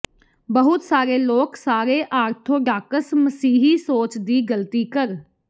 ਬਹੁਤ ਸਾਰੇ ਲੋਕ ਸਾਰੇ ਆਰਥੋਡਾਕਸ ਮਸੀਹੀ ਸੋਚ ਦੀ ਗਲਤੀ ਕਰ